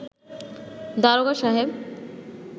দারোগা সাহেব